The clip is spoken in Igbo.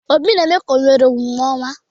Obi na-eme ka o nwere omume ọma.